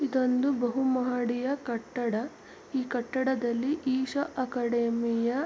ಇದೊಂದು ಬಹುಮಾಡಿಯ ಕಟ್ಟಡ ಈ ಕಟ್ಟಡದಲ್ಲಿ ಈಶ ಅಕಾಡಮಿಯ --